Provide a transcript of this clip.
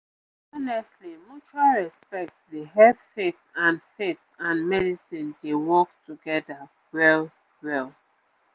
honestly mutual respect dey help faith and faith and medicine dey work together well well